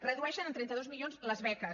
redueixen en trenta dos milions les beques